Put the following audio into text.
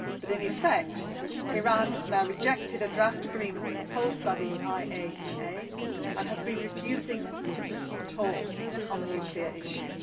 But, in effect, Iran has now rejected a draft agreement proposed by the IAEA and has been refusing to pursue talks on the nuclear issue.